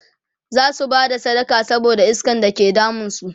zasu Bada sadaka saboda iskan da ke damun su